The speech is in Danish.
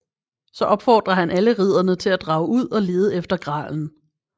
Så opfordrer han alle ridderne til at drage ud og lede efter gralen